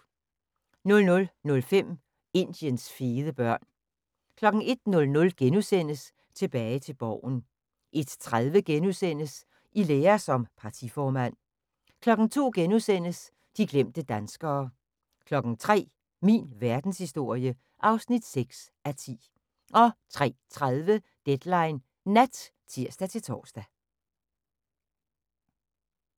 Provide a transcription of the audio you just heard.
00:05: Indiens fede børn 01:00: Tilbage til Borgen * 01:30: I lære som partiformand * 02:00: De glemte danskere * 03:00: Min verdenshistorie (6:10) 03:30: Deadline Nat (tir-tor)